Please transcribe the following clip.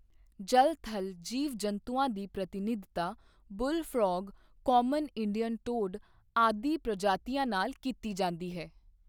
ਜਲ ਥਲ ਜੀਵ ਜੰਤੂਆਂ ਦੀ ਪ੍ਰਤਿਨਿਧਤਾ, bull frog, common Indian toad ਆਦਿ ਪ੍ਰਜਾਤੀਆਂ ਨਾਲ ਕੀਤੀ ਜਾਂਦੀ ਹੈ।